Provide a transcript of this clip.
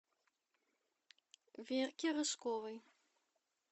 верки рыжковой